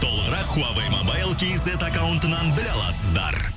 толығырақ хуавей мобайл кейзет аккауынтынан біле аласыздар